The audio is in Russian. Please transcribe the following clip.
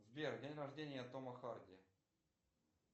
сбер день рождения тома харди